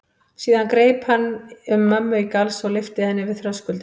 Síðan greip hann um mömmu í galsa og lyfti henni yfir þröskuldinn.